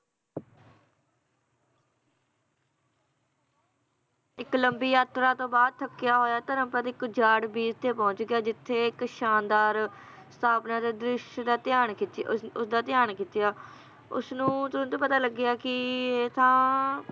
ਇੱਕ ਲੰਬੀ ਯਾਤਰਾ ਤੋਂ ਬਾਅਦ ਥਕਿਆ ਹੋਇਆ ਧਰਮਪਦ ਇਕ ਉਜਾੜ ਬੀਚ ਤੇ ਪਹੁੰਚ ਗਿਆ ਜਿਥੇ ਇੱਕ ਸ਼ਾਨਦਾਰ ਦ੍ਰਿਸ਼ ਦਾ ਧਿਆਨ ਖਿੱਚ~ ਉਸ, ਉਸਦਾ ਧਿਆਨ ਖਿਚਿਆ ਉਸ ਨੂੰ ਤੁਰੰਤ ਪਤਾ ਲੱਗਿਆ ਕਿ, ਇਹ ਤਾਂ,